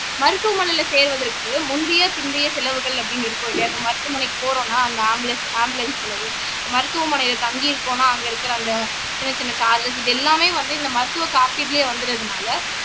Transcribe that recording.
மருத்துவமனையில சேருவதற்கு முந்தைய பிந்தைய செலவுகள் அப்படின்னு இருக்கும் இல்லையா இப்ப மருத்துவமனைக்கு போறோம்ன்னா அந்த ஆம்புலன்ஸ் ஆம்புலன்ஸ் செலவு மருத்துவமனையில தங்கியிருக்கோம்னா அங்க இருக்கிற அந்த சின்ன சின்ன சார்ஜ்ஸ் இது எல்லாமே வந்து இந்த மருத்துவ காப்பீட்டுலயே வந்துடுறதுனால